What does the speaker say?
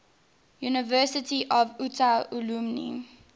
university of utah alumni